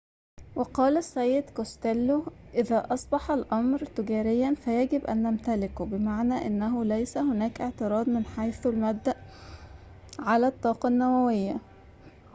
وقال السيد كوستيلو إذا أصبح الأمر تجارياً فيجب أن نمتكله بمعنى أنه ليس هناك اعتراض من حيث المبدأ على الطاقة النووية